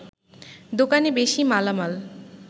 দোকানে বেশি মালামাল